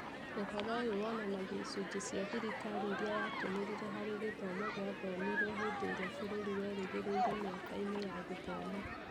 Ũhoro ũyũ wonanagia icunjĩ cia thirikari irĩa yatũmĩrire harĩ gĩthomo gĩathomirwo hĩndĩ ĩrĩa bũrũri werĩgĩrĩĩre mĩaka-inĩ ya gũthoma.